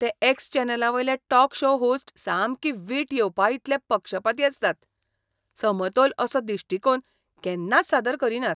ते एक्स चॅनलावयले talk show host सामकी वीट येवपाइतले पक्षपाती आसतात. समतोल असो दिश्टीकोण केन्नाच सादर करीनात.